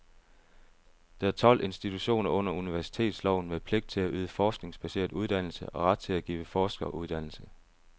Der er tolv institutioner under universitetsloven med pligt til at yde forskningsbaseret uddannelse og ret til at give forskeruddannelse.